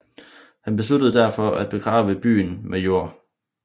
Han besluttede derfor at begrave byen med jord